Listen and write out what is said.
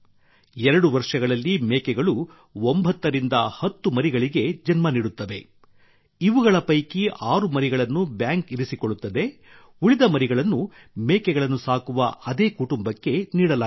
2 ವರ್ಷಗಳಲ್ಲಿ ಮೇಕೆಗಳು 9 ರಿಂದ 10 ಮರಿಗಳಿಗೆ ಜನ್ಮ ನೀಡುತ್ತವೆ ಇವುಗಳ ಪೈಕಿ ಆರು ಮರಿಗಳನ್ನು ಬ್ಯಾಂಕ್ ಇರಿಸಿಕೊಳ್ಳುತ್ತದೆ ಉಳಿದ ಮರಿಗಳನ್ನು ಮೇಕೆಗಳನ್ನು ಸಾಕುವ ಅದೇ ಕುಟುಂಬಕ್ಕೆ ನೀಡಲಾಗುತ್ತದೆ